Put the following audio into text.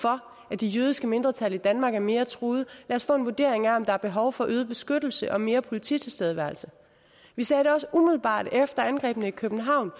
for at det jødiske mindretal i danmark er mere truet så os få en vurdering af om der er behov for bedre beskyttelse og mere politi tilstedeværelse vi sagde det også umiddelbart efter angrebet i københavn